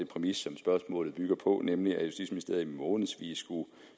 præmis som spørgsmålet bygger på nemlig at justitsministeriet i månedsvis